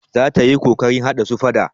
Za ta yi ƙoƙarin haɗa su faɗa.